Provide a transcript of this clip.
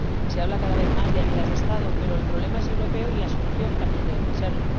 Se habla cada vez más de ayudas de Estado, pero el problema es europeo y la solución también debe serlo.